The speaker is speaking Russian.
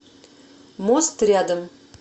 мост рядом